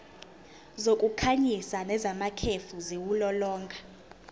zokukhanyisa nezamakhefu ziwulolonga